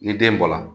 Ni den bɔla